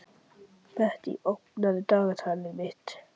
Bettý, opnaðu dagatalið mitt.